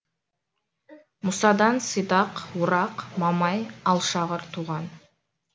мұсадан сидақ орақ мамай алшағыр туған